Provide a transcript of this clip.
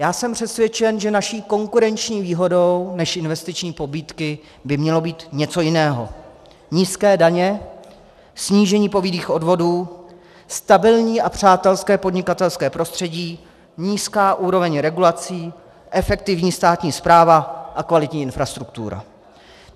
Já jsem přesvědčen, že naší konkurenční výhodou než investiční pobídky by mělo být něco jiného: nízké daně, snížení povinných odvodů, stabilní a přátelské podnikatelské prostředí, nízká úroveň regulací, efektivní státní správa a kvalitní infrastruktura.